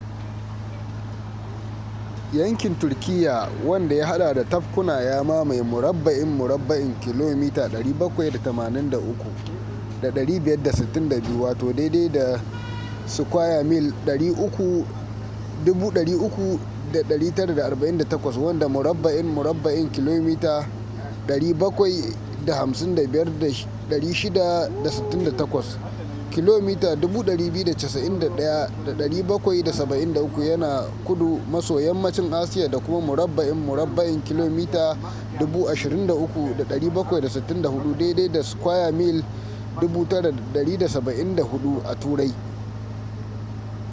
yankin turkiyya wanda ya hada da tabkuna ya mamaye murabba'in murabba'in kilomita 783,562 300,948 sq mi wanda murabba'in murabba'in kilomita 755,688 kilomita 291,773 yana kudu maso yammacin asiya da kuma murabba'in murabba’in kilomita 23,764 9,174 sq mi a turai